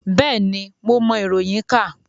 Bẹ́ẹ̀ni, mo mọ iroyin ka.